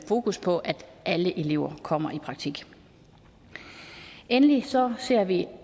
fokus på at alle elever kommer i praktik endelig ser ser vi